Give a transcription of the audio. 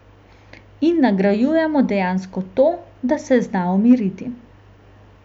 In nagrajujemo dejansko to, da se zna umiriti.